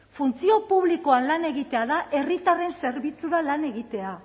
funtzio publikoan lan egitea da herritarren zerbitzura lan egitea